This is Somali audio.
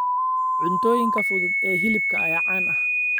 Cuntooyinka fudud ee hilibka ayaa caan ah.